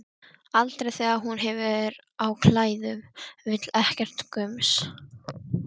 Aldrei þegar hún hefur á klæðum, vill ekkert gums.